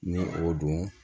Ni o don